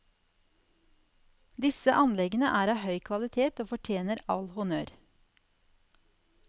Disse anleggene er av høy kvalitet og fortjener all honnør.